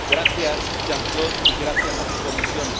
Gracias, Jean Claude, y gracias a tu Comisión.